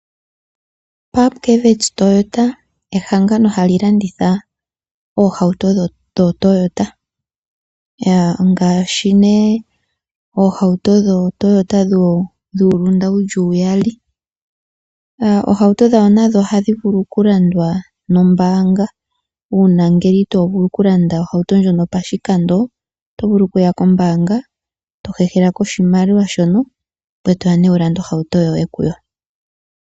Pupkewitz Toyota ehangano hali landitha omahauto goToyota, ngaashi nee ohauto dhoToyota dhuulunda wuli uyali. Omahauto gayo nago ohaga vulu okulandwa nombaanga uuna ngele itovulu okulanda ohauto ndjoka pashikando, otovulu okuya kombaanga tohehelako oshimaliwa shono ngoye toya wulande ohauto yoye kuyo.